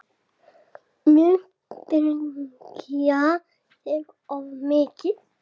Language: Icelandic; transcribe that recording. Misstíga sig of mikið.